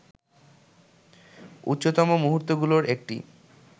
উচ্চতম মুহুর্তগুলোর একটি